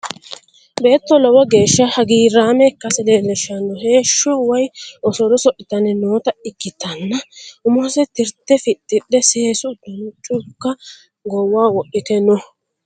Beetto lowo geeshsha hagiirraame ikkase leellishshanno heeshsho woy osolo oso'litanni noota ikkitanna. Umose tirte fixxidhe seesu uddanonna culka goowaho wodhite no.